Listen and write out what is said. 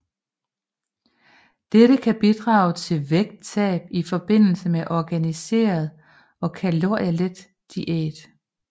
Dette kan bidrage til vægttab i forbindelse med en organiseret og kalorielet diæt